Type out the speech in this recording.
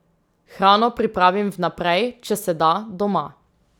Hrano pripravim vnaprej, če se da, doma.